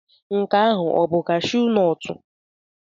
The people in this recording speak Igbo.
Nke ahụ ọ bụ kashụụ nọt?